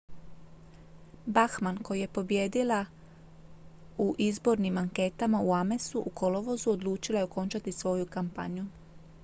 bachmann koja je pobijedila u izbornim anketama u amesu u kolovozu odlučila je okončati svoju kampanju